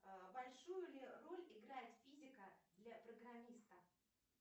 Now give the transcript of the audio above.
большую ли роль играет физика для программиста